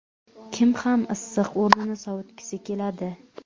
Kim ham issiq o‘rnini sovutgisi keladi?